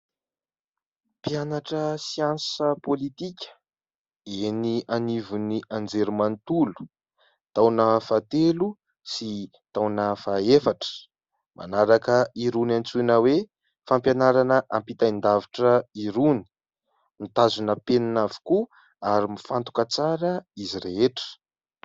Mpianatra siansa pôlitika eny anivon'ny Anjerimanontolo, taona fahatelo sy taona fahefatra, manaraka irony antsoina hoe :" fampianarana ampitain-davitra" irony, mitazona penina avokoa ary mifantoka tsara izy rehetra.